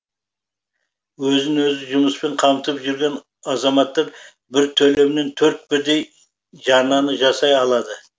өзін өзі жұмыспен қамтып жүрген азаматтар бір төлеммен төрт бірдей жарнаны жасай алады